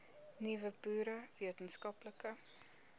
nuwe boere wetenskaplike